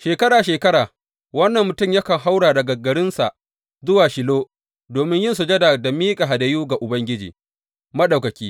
Shekara shekara wannan mutum yakan haura daga garinsa zuwa Shilo domin yin sujada da miƙa hadayu ga Ubangiji Maɗaukaki.